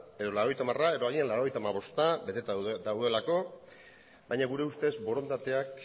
edo laurogeita hamara edo agian laurogeita hamabosta beteta daudelako baina gure ustez borondateak